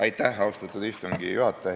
Aitäh, austatud istungi juhataja!